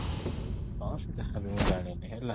ହଁ ସେ ଯାହା ବି ମୁଁ ଜାଣିନି ହେଲା